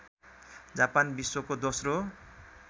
Japan विश्वको दोस्रो